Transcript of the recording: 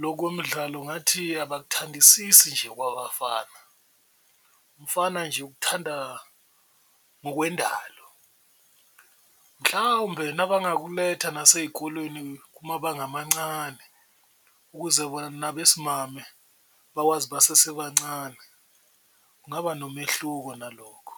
lo kwemidlalo ngathi abakuthandisisi nje okwabafana umfana nje ukuthanda ngokwendalo, mhlawumbe nabakuletha nasey'kolweni kumabanga amancane ukuze nabesimame bakwazi basasebancane kungaba nomehluko nalokho.